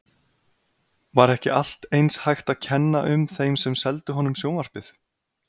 Var ekki allt eins hægt að kenna um þeim sem seldu honum sjónvarpið?